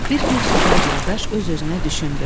Bir gün subay qardaş öz-özünə düşündü.